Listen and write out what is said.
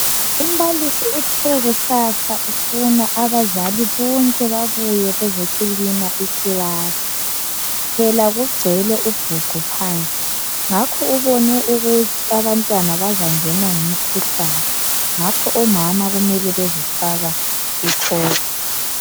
Umbalisi uthe kusasa ufuna abazali bonke babuye bezohlanza ikilasi phela kugcwele ubhuqu phansi ngakho ubone ukuthi abantwana bazangenwa ngumkhuhlane ngakho omama kumele bezofaka icobra.